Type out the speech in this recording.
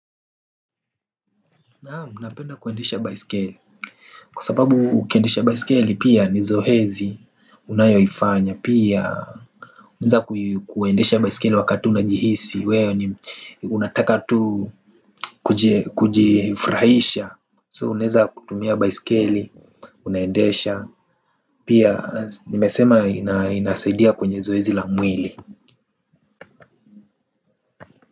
Naam napenda kuendesha baisikele. Kwa sababu ukiendesha baisikele pia ni zohezi unayoifanya pia nza kuendesha baisikele wakati unajihisi weo ni unataka tu kujifrahisha So uneza kutumia baisikele. Unaendesha pia nimesema inasaidia kwenye zohezi la mwili.